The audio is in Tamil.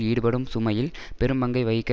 ஈடுபடும் சுமையில் பெரும்பங்கை வகிக்க